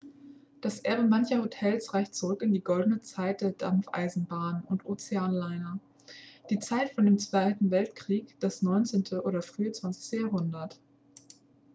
das erbe mancher hotels reicht zurück in die goldene zeit der dampfeisenbahnen und ozeanliner die zeit vor dem zweiten weltkrieg das 19. oder frühe 20. jahrhundert